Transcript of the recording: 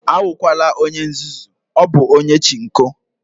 Awukwala onye nzuzu, ọ bụ onye Chinko